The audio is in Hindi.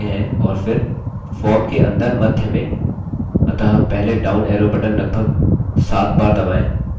अतः पहले down arrow बटन लगभग सात बार दबाएँ